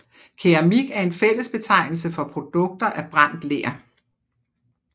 Keramik er en fællesbetegnelse for produkter af brændt ler